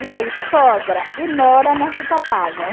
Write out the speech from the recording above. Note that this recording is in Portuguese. E aí sogra e nora não se topavam.